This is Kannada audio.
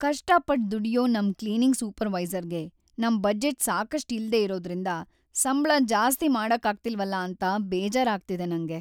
ಕಷ್ಟಪಟ್ಟ್ ದುಡ್ಯೋ ನಮ್ ಕ್ಲೀನಿಂಗ್‌ ಸೂಪರ್‌ವೈಸರ್‌ಗೆ ‌ನಮ್ ಬಜೆಟ್‌ ಸಾಕಷ್ಟ್ ಇಲ್ದೇ ಇರೋದ್ರಿಂದ ಸಂಬ್ಳ ಜಾಸ್ತಿ ಮಾಡಕ್ಕಾಗ್ತಿಲ್ವಲ ಅಂತ ಬೇಜಾರಾಗ್ತಿದೆ‌ ನಂಗೆ.